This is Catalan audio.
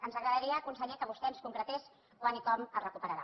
ens agradaria conseller que vostè ens concretés quan i com el recuperarà